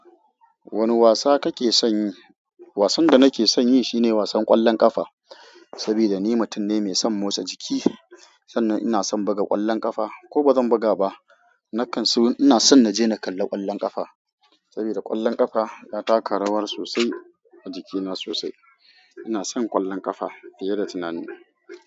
Wane wasa kake son yi? Wasan da nake son yi shine wasan ƙwallon ƙafa, saboda ni mutum ne mai son motsa jiki. Sannan ina son buga ƙwallon ƙafa ko bazan buga ba, na kan so ina son na je na kalla ƙwallon ƙafa. Saboda ƙwallon ƙafa ya taka rawa sosai a jikina sosai. Ina son ƙwallon ƙafa fiye da tunani.